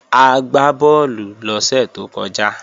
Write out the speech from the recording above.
A gbá bọ́ọ̀lù lọ́sẹ̀ tó kọjá